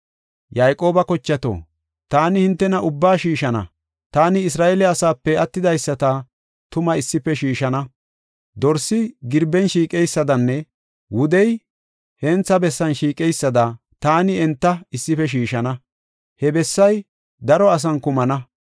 “Yayqooba kochato, taani hintena ubbaa shiishana; taani Isra7eele asaape attidaysata tuma issife shiishana. Dorsi girben shiiqeysadanne wudey hentha bessan shiiqeysada, taani enta issife shiishana. He bessay daro asan kumana.